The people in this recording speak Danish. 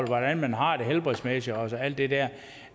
hvordan man har det helbredsmæssigt og alt det der